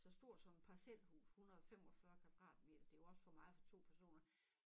Så stor som et parcelhus 145 kvadratmeter det jo også for meget for 2 personer